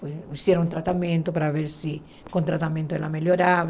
Fizeram um tratamento para ver se com o tratamento ela melhorava.